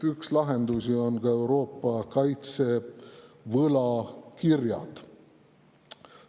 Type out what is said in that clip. Üks lahendusi on ka Euroopa kaitsevõlakirjad.